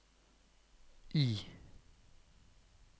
I